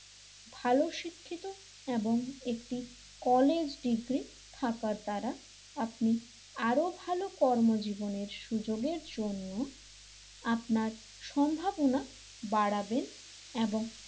ভালো শিক্ষিত এবং একটি কলেজ ডিগ্রি থাকার দ্বারা আপনি আরো ভালো কর্মজীবনের সুযোগের জন্য আপনার সম্ভাবনা বাড়াবেন এবং,